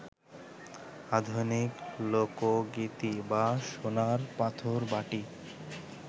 আধুনিক লোকগীতি বা সোনার পাথরবাটি